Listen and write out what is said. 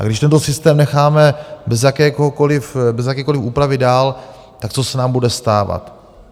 A když tento systém necháme bez jakékoliv úpravy dál, tak co se nám bude stávat?